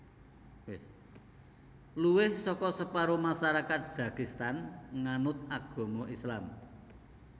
Luwih saka separo masyarakat Dagestan nganut agama Islam